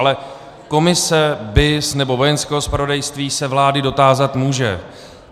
Ale komise BIS nebo Vojenského zpravodajství se vlády dotázat může.